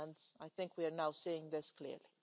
And I think we are now seeing this clearly.